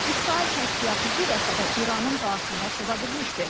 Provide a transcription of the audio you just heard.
İsrail kəşfiyyatı bu dəfə də İranın daxilinə sızabilmişdi.